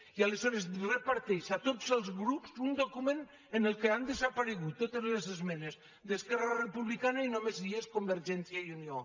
i aleshores reparteix a tots els grups un document en el qual han desaparegut totes les esmenes d’esquerra republicana i només hi és convergència i unió